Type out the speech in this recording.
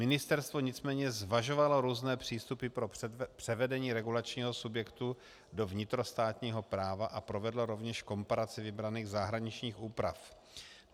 Ministerstvo nicméně zvažovalo různé přístupy pro převedení regulačního subjektu do vnitrostátního práva a provedlo rovněž komparaci vybraných zahraničních úprav.